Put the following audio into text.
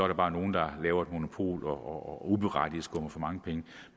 der bare nogle der laver et monopol og uberettiget skummer for mange penge